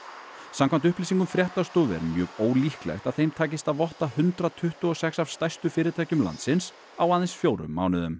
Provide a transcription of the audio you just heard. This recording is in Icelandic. samkvæmt upplýsingum fréttastofu er mjög ólíklegt að þeim takist að votta hundrað tuttugu og sex af stærstu fyrirtækjum landsins á aðeins fjórum mánuðum